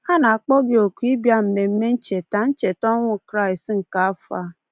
A na-akpọ gị oku ịbịa mmemme ncheta ncheta ọnwụ Kraịst nke afọ a.